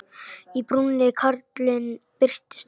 Í brúnni karlinn birtist enn.